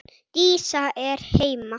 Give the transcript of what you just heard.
Dísa er heima!